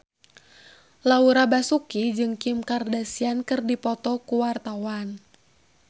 Laura Basuki jeung Kim Kardashian keur dipoto ku wartawan